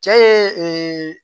Cɛ ye